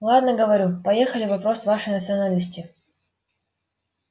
ладно говорю поехали вопрос вашей национальности